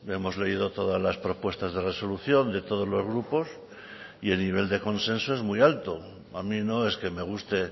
hemos leído todas las propuestas de resolución de todos los grupos y el nivel de consenso es muy alto a mí no es que me guste